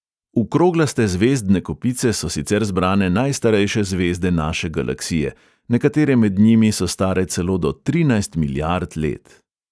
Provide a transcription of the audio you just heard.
V kroglaste zvezdne kopice so sicer zbrane najstarejše zvezde naše galaksije, nekatere med njimi so stare celo do trinajst milijard let.